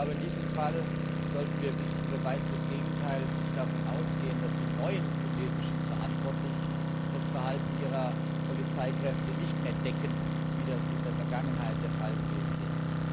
In diesem Fall sollten wir bis zum Beweis des Gegenteils davon ausgehen, dass die neuen tunesischen Verantwortlichen das Verhalten ihrer Polizeikräfte nicht mehr decken, wie das in der Vergangenheit der Fall gewesen ist.